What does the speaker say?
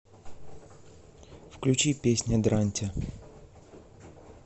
включи песня дрантя